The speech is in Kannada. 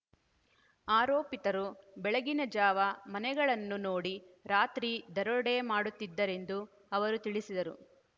ಆರೋಪಿತರು ಬೆಳಗಿನ ಜಾವ ಮನೆಗಳನ್ನು ನೋಡಿ ರಾತ್ರಿ ದರೋಡೆ ಮಾಡುತ್ತಿದ್ದರೆಂದು ಅವರು ತಿಳಿಸಿದರು